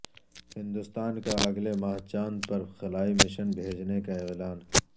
ہندوستان کا اگلے ماہ چاند پر خلائی مشن بھیجنے کا اعلان